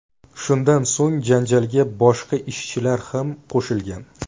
Shundan so‘ng janjalga boshqa ishchilar ham qo‘shilgan.